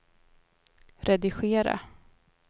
redigera